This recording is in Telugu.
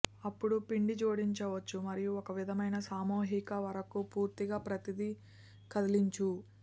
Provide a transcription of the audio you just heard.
అప్పుడు పిండి జోడించవచ్చు మరియు ఒక విధమైన సామూహిక వరకు పూర్తిగా ప్రతిదీ కదిలించు